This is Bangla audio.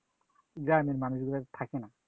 গ্রামের মানুষগুলার থাকে না